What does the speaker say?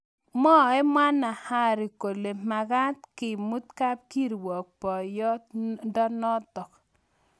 Mwai mwanahari kole makat kemut kapkirwok boiyot ndonotok